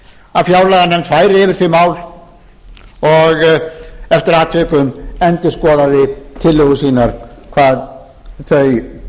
að fjárlaganefnd færi yfir þau mál og eftir atvikum endurskoðaði tillögur sínar hvað þau